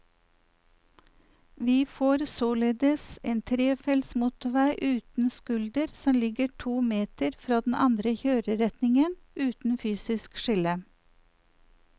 Vi får således en trefelts motorvei uten skulder som ligger to meter fra den andre kjøreretningen, uten fysisk skille.